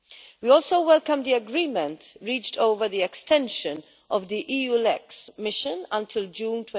We also welcome the agreement reached over the extension of the EULEX mission until June